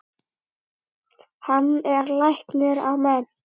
Hann er læknir að mennt.